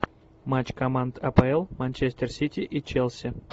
матч команд апл манчестер сити и челси